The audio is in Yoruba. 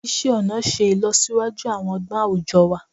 Isé ọnà ṣe ìlọsíwájú àwọn ọgbọ́n àwùjọ wa